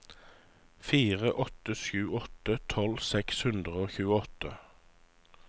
fire åtte sju åtte tolv seks hundre og tjueåtte